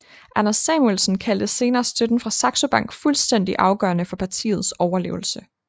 Anders Samuelsen kaldte senere støtten fra Saxo Bank fuldstændig afgørende for partiets overlevelse